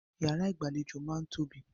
Ìyàrá ìgbàlejò máa ń tóbi.